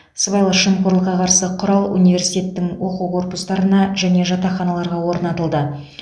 сыбайлас жемқорлыққа қарсы құрал университеттің оқу корпустарына және жатақханаларға орнатылды